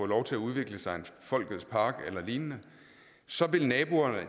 lov til at udvikle sig en folkets park eller lignende så vil naboerne